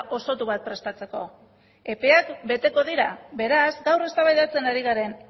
osotu bat prestatzeko epeak beteko dira beraz gaur eztabaidatzen ari garen